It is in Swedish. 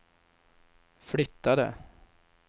flyttade